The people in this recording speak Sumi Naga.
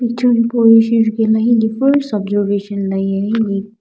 hipau ishi jukela hile first observation hipau ye.